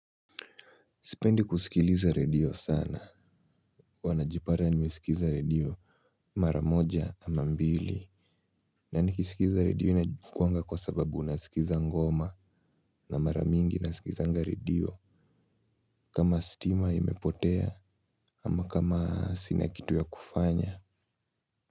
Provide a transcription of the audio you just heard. Sipendi kusikiliza redio sana huwa najipata nimesikiza redio mara moja ama mbili na nikisikiza redio inachukuanga kwa sababu unasikiza ngoma na mara mingi nasikizanga redio kama stima imepotea ama kama sina kitu ya kufanya.